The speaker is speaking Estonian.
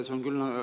Aitäh!